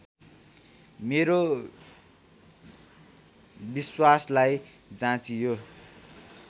मेरो विश्वासलाई जाँचियो